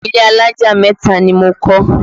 Ilé alájà mẹ́ta ni mo kọ́